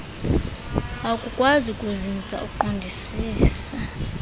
akukwazi kuzinza uqondisise